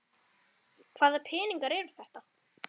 Hvaða peningar eru þetta?